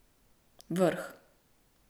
Vrh.